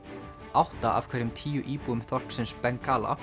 átta af hverjum tíu íbúum þorpsins